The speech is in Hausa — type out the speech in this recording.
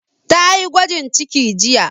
Ta yi gwajin ciki jiya